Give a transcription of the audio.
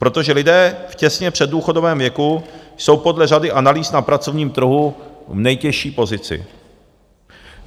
Protože lidé těsně v předdůchodovém věku jsou podle řady analýz na pracovním trhu v nejtěžší pozici.